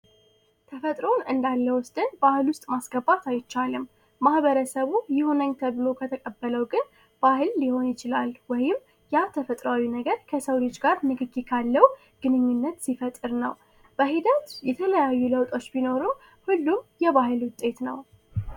ተፈጥሮን እንዳለወጥን ባህል ውስጥ ማስገባት አይቻልም ማኀበረሰቡ የሆነ ተብሎ ከተቀበለው ግን ባህል ሊሆን ይችላል ወይም ያ ተፈጥሯዊ ነገር ከሰው ልጅ ጋር ንግግር ካለው ግንኙነት ሲፈጥር ነው ሂደት የተለያዩ ለውጦች ቢኖረው ሁሉም የባህል ውጤት ነው